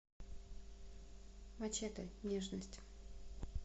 мачете нежность